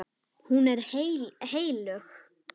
Hún er heilög.